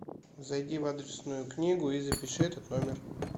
зайди в адресную книгу и запиши этот номер